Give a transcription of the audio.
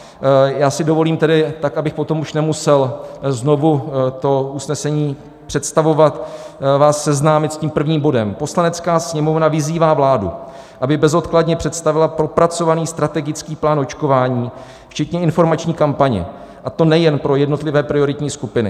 Já si dovolím tedy, tak abych potom už nemusel znovu to usnesení představovat, vás seznámit s tím prvním bodem: "Poslanecká sněmovna vyzývá vládu, aby bezodkladně představila propracovaný strategický plán očkování, včetně informační kampaně, a to nejen pro jednotlivé prioritní skupiny.